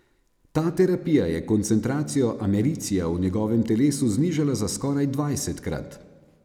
Ta terapija je koncentracijo americija v njegovem telesu znižala za skoraj dvajsetkrat.